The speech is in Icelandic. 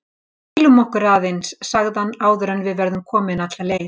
Hvílum okkur aðeins sagði hann áður en við verðum komin alla leið